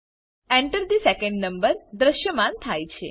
Enter થે second number દ્રશ્યમાન થાય છે